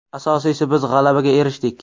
Asosiysi biz g‘alabaga erishdik.